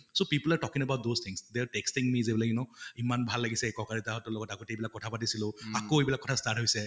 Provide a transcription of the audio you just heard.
so people are talking about those things, they are texting me like you know ইমান ভাল লাগিছে ককা দেউতা হঁতৰ লগত আগতে এইবিলাক কথা পাতিছিলো, আকৌ এইবিলাক কথা start হৈছে